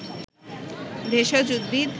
ভেষজ উদ্ভিদ